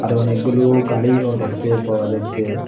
আরো অনেকগুলো গাড়িও দেখতে পাওয়া যাচ্চে।